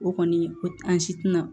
O kɔni o an si tɛna